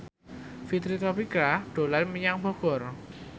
Fitri Tropika dolan menyang Bogor